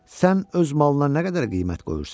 Sən öz malına nə qədər qiymət qoyursan?